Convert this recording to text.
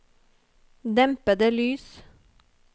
dempede lys